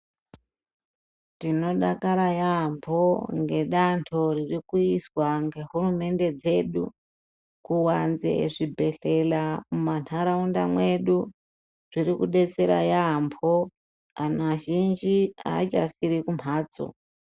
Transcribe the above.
Tinodakara yaambo ngedanho ririkuizwa ngehurumende dzedu kuvanze zvibhedhlera muma nharaunda mwedu, zviri kubetsera yaambo. Antu azhinji haachafire kumhatso.